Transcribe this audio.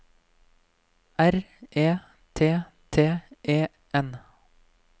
R E T T E N